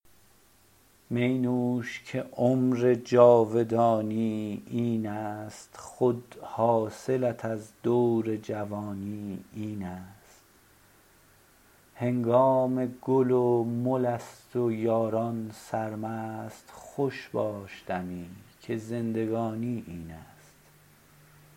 می نوش که عمر جاودانی این است خود حاصلت از دور جوانی این است هنگام گل و مل است و یاران سرمست خوش باش دمی که زندگانی این است